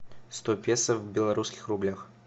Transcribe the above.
сто песо в белорусских рублях